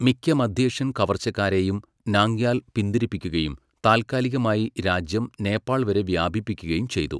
മിക്ക മധ്യേഷ്യൻ കവർച്ചക്കാരെയും, നാംഗ്യാൽ പിന്തിരിപ്പിക്കുകയും താൽക്കാലികമായി രാജ്യം നേപ്പാൾ വരെ വ്യാപിപ്പിക്കുകയും ചെയ്തു.